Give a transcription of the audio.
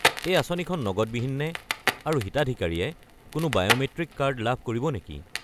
এই আঁচনিখন নগদবিহীন নে, আৰু হিতাধিকাৰীয়ে কোনো বায়'মেট্ৰিক কাৰ্ড লাভ কৰিব নেকি?